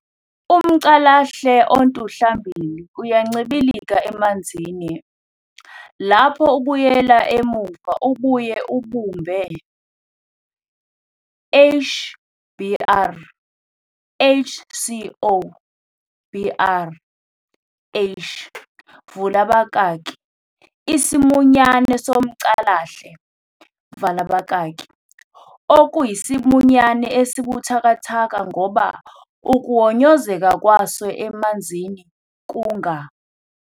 umCalahle ontuhlambili uyancibilika emanzini, lapho ubuyela emuva ubuye ubumbe H br H CO br H vala abakaki isimunyane somcalahle vala abakaki, okuyisimunyane esibuthakathaka ngoba ukuhonyozeka kwaso emanzini kunga.